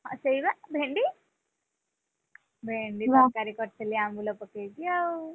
ହଁ ସେଇବା ଭେଣ୍ଡି, ଭେଣ୍ଡି, ତରକାରୀ କରିଥିଲି ଆମ୍ବୁଲ ପକେଇକି ଆଉ।